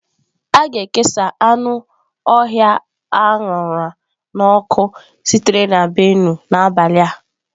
A ga-ekesa anụ ọhịa a ṅara n'ọkụ sitere na Benue n'abalị a.